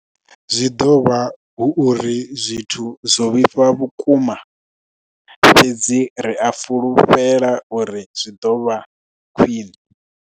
Zwi ḓo vha hu uri zwithu zwo vhifha vhukuma, fhedzi ri a fhulufhela uri zwi ḓo vha khwiṋe.